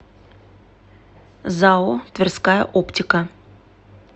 зао тверская оптика